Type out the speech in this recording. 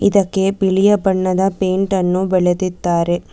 ಇದಕ್ಕೆ ಬಿಳಿಯ ಬಣ್ಣದ ಪೈಂಟ್ ಅನ್ನು ಬಳದಿದ್ದಾರೆ.